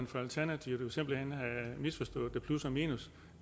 for alternativet jo simpelt hen have misforstået med plus og minus